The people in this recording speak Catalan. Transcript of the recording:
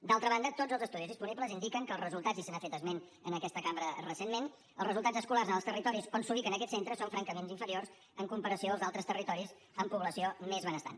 d’altra banda tots els estudis disponibles indiquen i se n’ha fet esment en aquesta cambra recentment que els resultats escolars en els territoris on s’ubiquen aquests centres són francament inferiors en comparació als altres territoris amb població més benestant